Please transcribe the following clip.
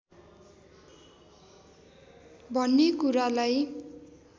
भन्ने कुरालाई